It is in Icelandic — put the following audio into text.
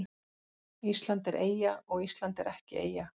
Ísland er eyja og Ísland er ekki eyja